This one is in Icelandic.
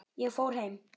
Ég fór heim.